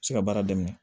Se ka baara daminɛ